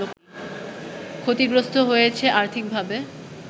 ক্ষতিগ্রস্ত হয়েছে আর্থিকভাবে